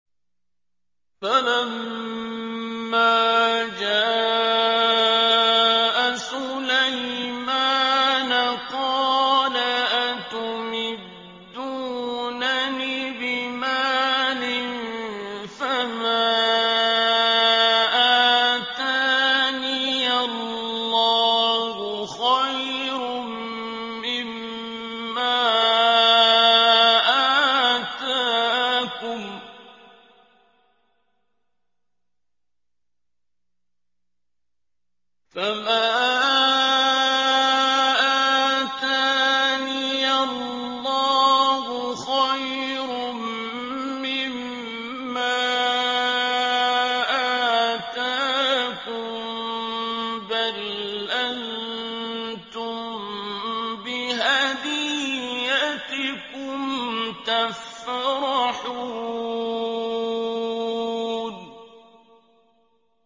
فَلَمَّا جَاءَ سُلَيْمَانَ قَالَ أَتُمِدُّونَنِ بِمَالٍ فَمَا آتَانِيَ اللَّهُ خَيْرٌ مِّمَّا آتَاكُم بَلْ أَنتُم بِهَدِيَّتِكُمْ تَفْرَحُونَ